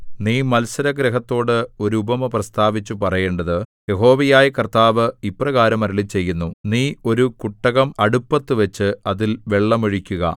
നീ മത്സരഗൃഹത്തോട് ഒരു ഉപമ പ്രസ്താവിച്ചു പറയേണ്ടത് യഹോവയായ കർത്താവ് ഇപ്രകാരം അരുളിച്ചെയ്യുന്നു നീ ഒരു കുട്ടകം അടുപ്പത്തു വച്ച് അതിൽ വെള്ളം ഒഴിക്കുക